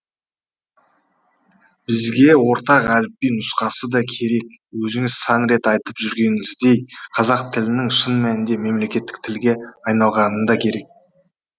бізге ортақ әліпби нұсқасы да керек өзіңіз сан рет айтып жүргеніңіздей қазақ тілінің шын мәнінде мемлекеттік тілге айналғаны да керек